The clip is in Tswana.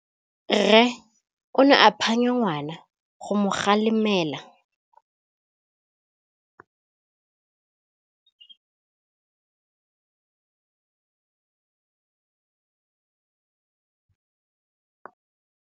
Rre o ne a phanya ngwana go mo galemela.